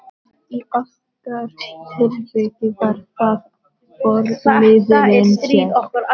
Í okkar tilviki var það forliðurinn sér.